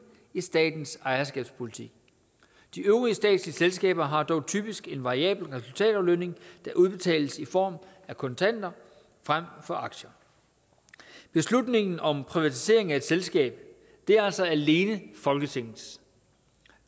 i statens ejerskabspolitik de øvrige statslige selskaber har dog typisk en variabel resultataflønning der udbetales i form af kontanter fremfor aktier beslutningen om privatisering af et selskab er altså alene folketingets